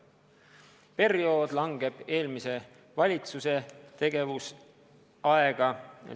See periood jääb eelmise valitsuse tegevusaega.